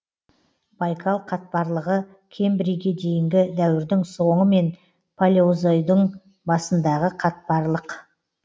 байкал қатпарлығы кембрийге дейінгі дәуірдің соңы мен палеозойдың басындағы қатпарлық